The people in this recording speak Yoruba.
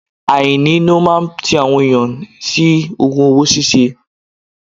Àìní ló máa ń ti àwọn ènìyàn sí ogun owó ṣíṣe.